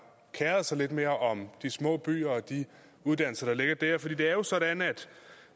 kerede sig lidt mere om de små byer og de uddannelser der ligger der for det det er jo sådan at